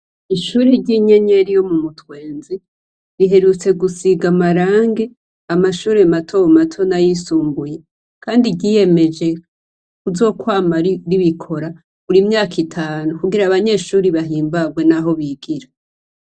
Ishure ry'inyenyeri yo mu mutwenzi riherutse gusiga amarangi amashure matomato nay'isumbuye, kandi ryiyemeje kuzokwama ribikora buri myaka itanu kugira abanyeshure bahimbarwe n'aho bigira.